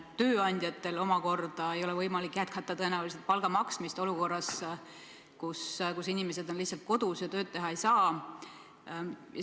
Tööandjatel omakorda ei ole tõenäoliselt võimalik jätkata palga maksmist olukorras, kus inimesed on lihtsalt kodus ja tööd teha ei saa.